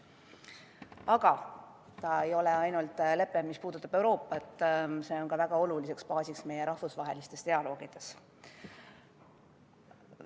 Aga see ei ole ainult lepe, mis puudutab Euroopat, see on ka väga oluline baas meie rahvusvahelistes dialoogides.